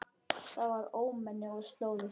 Þetta var ómenni og slóði.